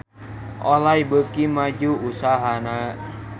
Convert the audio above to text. Olay beuki maju usahana